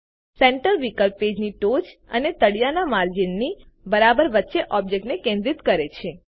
centre વિકલ્પ પેજની ટોચ અને તળિયાના માર્જિનની બરાબર વચ્ચે ઓબ્જેક્ટ ને કેન્દ્રિત કરે છે